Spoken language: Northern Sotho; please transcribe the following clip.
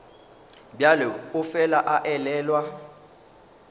bjalo o fela a elelwa